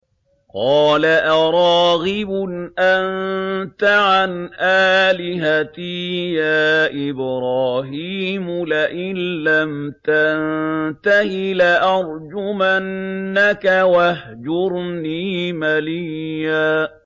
قَالَ أَرَاغِبٌ أَنتَ عَنْ آلِهَتِي يَا إِبْرَاهِيمُ ۖ لَئِن لَّمْ تَنتَهِ لَأَرْجُمَنَّكَ ۖ وَاهْجُرْنِي مَلِيًّا